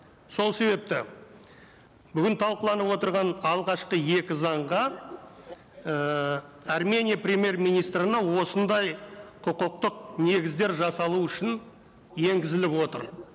сол себепті бүгін талқыланып отырған алғашқы екі заңға ііі армения премьер министрінің осындай құқықтық негіздер жасалу үшін енгізіліп отыр